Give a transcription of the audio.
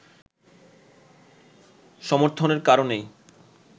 সমর্থনের কারণেই